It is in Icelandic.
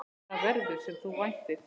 Það verður, sem þú væntir.